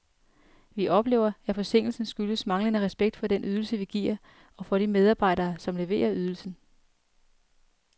Vi oplever, at forsinkelsen skyldes manglende respekt for den ydelse, vi giver, og for de medarbejdere, som leverer ydelsen.